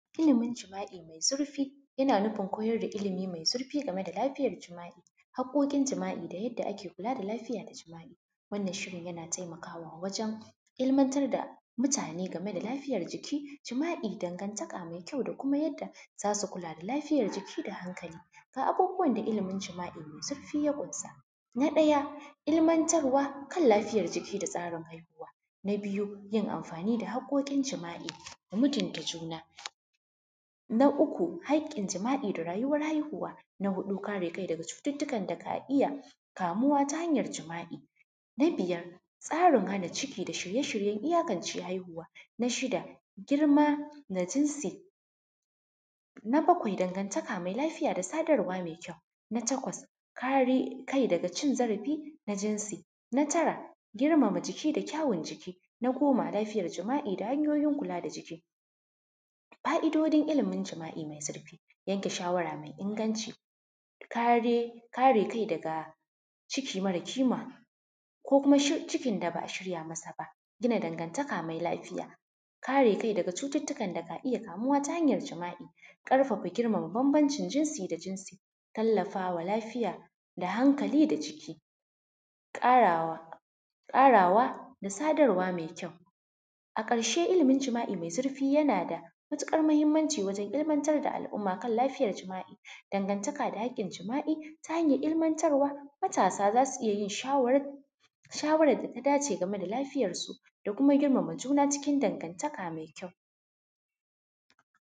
Ilimin jima’i mai zurfi, yana nufin koyar da ilimi mai zurfi game da lafiyar jima’i, haƙoƙin jima’i da yadda ake kula da lafiyar jima’i, wannan shirin yana taimakawa wajen ilmantar da mutane game da lafiyar jiki, jima’i dangantaka mai kyau da kuma yadda zasu kulla da lafiyar jiki da hankali, ga abubuwan da ilimin jima’I mai zurfi ya ƙunsa, na ɗaya ilmantarwa kan lafiyar jiki da tsarin haihuwa, na biyu yin amfani da hakokin jima’i da mutunta juna, na uku hakin jima’I da rayuwan haihuwa, na huɗu kara kai daga cututtukan da ka iya kamuwa ta hanyar jima’i, na biyar tsarin hana ciki da shirye-shiyen iyakan ce haihuwa, na shida girma da jinsi, na baƙwai dangantaka mai lafiya da sadarwa mai kyau, na taƙwas kare kai daga cin zarafi na jinsi, na tara girmama jiki da kyawan jiki, na goma lafiyar jima’i da hanyoyin kula da jiki. Ka’idojin ilimin jima’i mai zurfi, yanke shawara mai inganci, kare kai daga ciki mara kima ko kuma cikin da ba a shirya masa ba, gina dangantaka mai lafiya, kare kai daga cututtukan da ka iya kamuwa ta hanyar jima’i, karfafa girmama bambancin jinsi da jinsi, tallafa lafiya da hankali da jiki, karawa da sadarwa mai kyau, a karshe ilimin jima’i mai zurfi yana da matuƙar muhimmanci wajen ilmantar da al’umma kan lafiyar jima’i, dangantaka da hakkin jima’i ta hanyar ilmantarwa matasa zasu iya shawarar da ta dace game da lafiyar su da kuma girmama juna cikin dangantaka mai kyau.